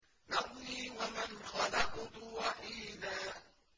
ذَرْنِي وَمَنْ خَلَقْتُ وَحِيدًا